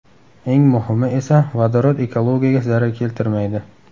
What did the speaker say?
Eng muhimi esa vodorod ekologiyaga zarar keltirmaydi.